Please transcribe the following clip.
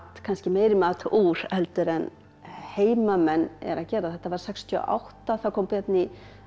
kannski meiri mat úr heldur en heimamenn gera þetta var sextíu og átta þá kom björn í